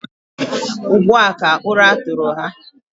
Ugbu a ka ụra tụrụ ha.